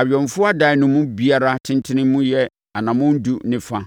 Awɛmfoɔ adan no mu biara tentene mu yɛ anammɔn edu ne fa